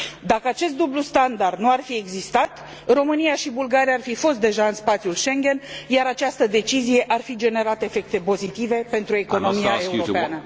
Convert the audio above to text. Dacă acest dublu standard nu ar fi existat, România și Bulgaria ar fi fost deja în spațiul Schengen, iar această decizie ar fi generat efecte pozitive pentru economia europeană.